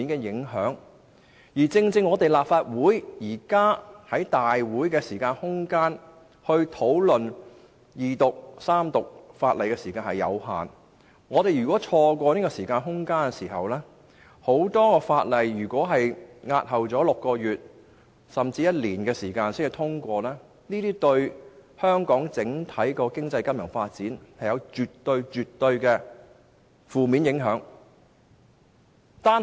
現時立法會在大會上二讀及三讀法案的時間有限，所以一旦錯過了，便會有很多法案須押後6個月甚至1年才獲得通過，這對香港的整體經濟金融發展絕對會造成負面影響。